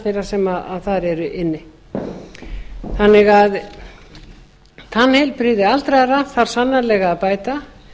þeirra sem þar eru inni tannheilbrigði aldraðra þarf sannarlega að bæta